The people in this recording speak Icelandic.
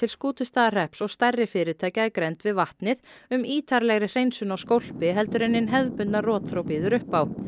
Skútustaðahrepps og stærri fyrirtækja í grennd við vatnið um ítarlegri hreinsun á skólpi heldur en hin hefðbundna rotþró býður upp á